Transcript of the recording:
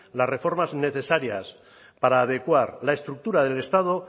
las reformas necesarias para adecuar la estructura del estado